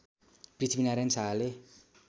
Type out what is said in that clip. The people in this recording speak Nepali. पृथ्वीनारायण शाहले